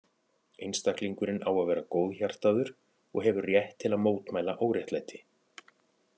Einstaklingurinn á að vera góðhjartaður og hefur rétt til að mótmæla óréttlæti.